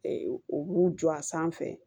u b'u jɔ a sanfɛ